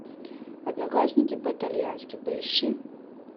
одноклассники по итальянски поищи